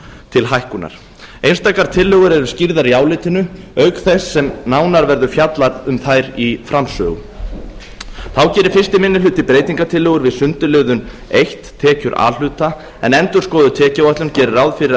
til hækkunar einstakar tillögur eru skýrðar í álitinu auk þess sem nánar verður fjallað um þær í framsögu þá gerir fyrsti minni hluti breytingartillögur við sundurliðun einu tekjur a hluta en endurskoðuð tekjuáætlun gerir ráð fyrir að